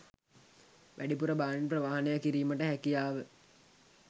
වැඩිපුර භාණ්ඩ ප්‍රවාහනය කිරීමට හැකියාව